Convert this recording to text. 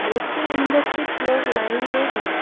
Booth के अंदर कुछ लोग लाइन में है।